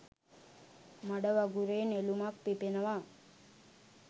මඩ වගුරේ නෙළුමක් පිපෙනවා.